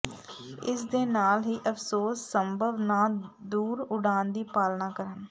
ਇਸ ਦੇ ਨਾਲ ਹੀ ਅਫ਼ਸੋਸ ਸੰਭਵ ਨਾ ਦੂਰ ਉਡਾਣ ਦੀ ਪਾਲਨਾ ਕਰਨ